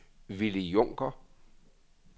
Willy Junker